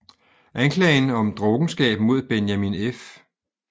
Anklagen om drukkenskab mod Benjamin F